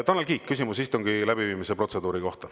Tanel Kiik, küsimus istungi läbiviimise protseduuri kohta.